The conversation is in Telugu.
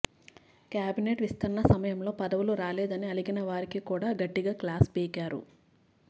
క్యాబినెట్ విస్తరణ సమయంలో పదవులు రాలేదని అలిగిన వారికి కూడా గట్టిగా క్లాస్ పీకారు